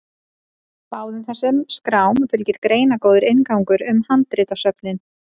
Báðum þessum skrám fylgir greinargóður inngangur um handritasöfnin.